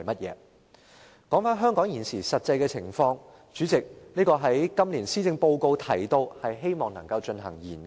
至於香港現時的實際情況，主席，今年的施政報告提到，政府希望能就此進行研究。